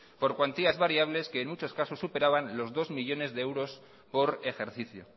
por cuantías variables que en muchos casos superaban los dos millónes de euros por ejercicio